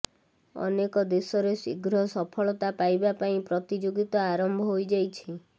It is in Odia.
ଅନେକ ଦେଶରେ ଶୀଘ୍ର ସଫଳତା ପାଇବା ପାଇଁ ପ୍ରତିଯୋଗିତା ଆରମ୍ଭ ହୋଇ ଯାଇଛି